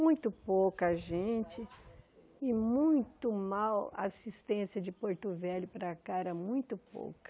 Muito pouca gente e muito mal assistência de Porto Velho para cá, era muito pouca.